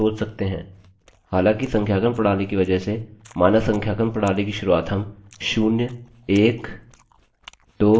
हालाँकि संख्यांकन प्रणाली की वजह से मानक संख्यांकन प्रणाली की शुरुआत हम शून्य एक दो तीन चार से कर रहे हैं